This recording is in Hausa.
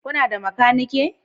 Kuna da makaniki?